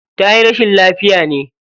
Tayi rashin lafiya ne?